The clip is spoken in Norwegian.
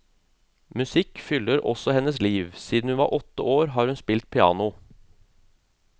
Musikk fyller også hennes liv, siden hun var åtte har hun spilt piano.